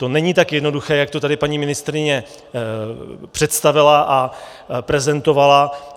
To není tak jednoduché, jak to tady paní ministryně představila a prezentovala.